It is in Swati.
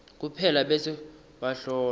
kuphela bese bahlolwa